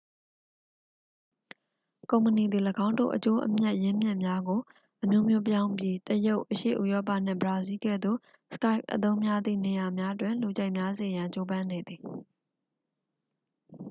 ကုမ္ပဏီသည် ၎င်းတို့ အကျိုးအမြတ် ရင်းမြစ်များကို အမျိုးမျိုးပြောင်းပြီး တရုတ် အရှေ့ဥရောပနှင့် ဘရာဇီးလ်ကဲ့သို့ skype အသုံးများသည့် နေရာများတွင် လူကြိုက်များစေရန် ကြိုးပမ်းနေသည်